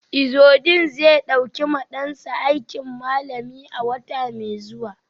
Izudeen zai dauki ma dansa aikin malami a wata mai zuwa.